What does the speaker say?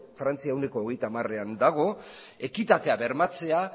frantzia ehuneko hogeita hamarean dago ekitatea bermatzea